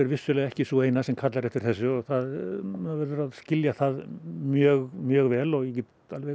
vissulega ekki sú eina sem kallar eftir þessu maður verður að skilja það mjög mjög vel og ég get